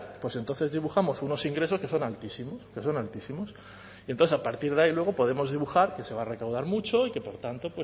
pues entonces dibujamos unos ingresos que son altísimos que son altísimos y entonces a partir de ahí luego podemos dibujar que se va a recaudar mucho y que por tanto